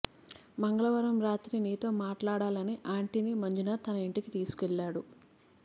మంగళవారం రాత్రి నీతో మాట్లాడాలని ఆంటీని మంజునాథ్ తన ఇంటికి తీసుకెళ్లాడు